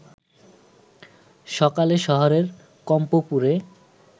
সকালে শহরের কম্পপুরে